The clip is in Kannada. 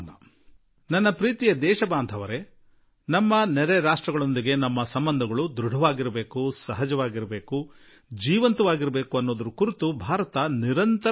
ನನ್ನೊಲವಿನ ದೇಶವಾಸಿಗಳೇ ನಮ್ಮ ನೆರೆ ಹೊರೆಯವರೊಡನೆ ನಮ್ಮ ಸಂಬಂಧ ಆಳವಾಗಿರಲಿ ನಮ್ಮ ಸಂಬಂಧ ಸಹಜವಾಗಿರಲಿ ನಮ್ಮ ಸಂಬಂಧ ಜೀವಂತವಾಗಿರಲಿ ಎಂಬುದೇ ಭಾರತದ ಸದಾಕಾಲದ ಪ್ರಯತ್ನವಾಗಿದೆ